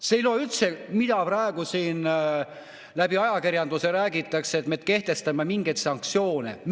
See ei loe üldse, mida praegu ajakirjanduses räägitakse, et me kehtestame mingeid sanktsioone.